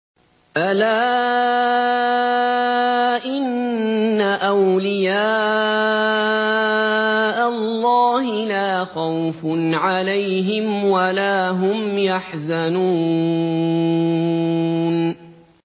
أَلَا إِنَّ أَوْلِيَاءَ اللَّهِ لَا خَوْفٌ عَلَيْهِمْ وَلَا هُمْ يَحْزَنُونَ